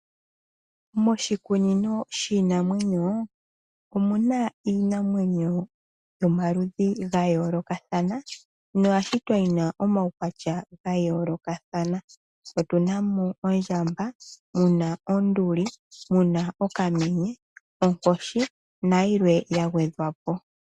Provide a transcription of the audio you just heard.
Moshikunino shiinamwenyo omuna iinamwenyo yomaludhi gayoolokathana noya shitwa yi na omaukwatya gayoolokathana. Otu na mo ondjamba, mu na onduli, mu na okamenye, onkoshi nayilwe yagwedhwa po.